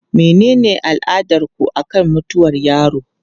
Menene al'adarku akan mutuwar yaro?